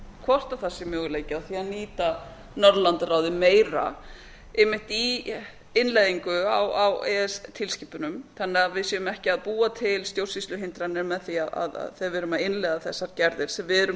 hvort það sé möguleiki á því að nýta norðurlandaráðið meira einnmitt í innleiðingu á e e s tilskipunum þannig að við séum ekki að búa til stjórnsýsluhindranir þegar við erum að innleiða þessar gerðir sem við erum